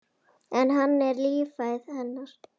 En hann er lífæð hennar.